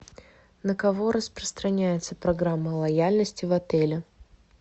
на кого распространяется программа лояльности в отеле